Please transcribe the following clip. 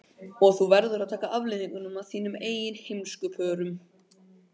Og þú verður að taka afleiðingunum af þínum eigin heimskupörum.